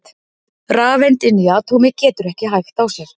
rafeind inni í atómi getur ekki hægt á sér!